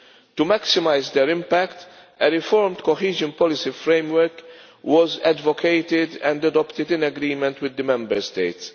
To maximise their impact, a reformed cohesion policy framework was advocated and adopted in agreement with the Member States.